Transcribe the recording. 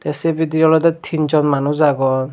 sei bidirey olodey tin jon manuj agon.